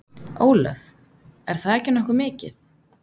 Ólöf: Er það ekki nokkuð mikið?